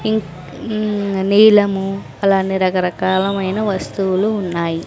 ఇక్ మ్ నీలము అలానే రకరకాలమైన వస్తువులు ఉన్నాయి.